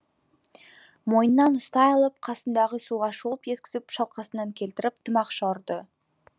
мойнынан ұстай алып қасындағы суға шолп еткізіп шалқасынан келтіріп тымақша ұрды